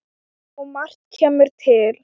Og margt kemur til.